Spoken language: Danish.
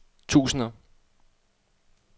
tusinder